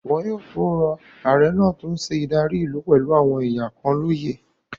Wọn yóò tó rọ ààrẹ náà tó n ṣe ìdarí ìlú pẹ̀lú àwọn èèyàn kan lóyè